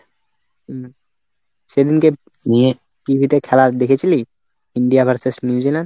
হম সেদিনকে নিয়ে TVতে খেলা দেখেছিলি? India versus New Zealand?